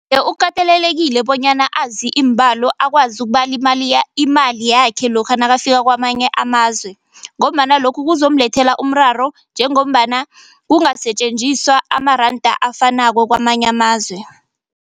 Iye, ukatelelekile bonyana azi iimbalo akwazi ukubala imali imali yakhe lokha nakafika kwamanye amazwe ngombana lokhu kuzomlethela umraro njengombana kungasetjenziswa amaranda afanako kwamanye amazwe.